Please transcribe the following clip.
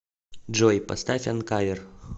джой поставь анкавер